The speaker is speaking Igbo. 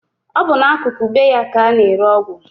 Ọ bụ n'akụkụ be ya ka a na-ere ọgwụ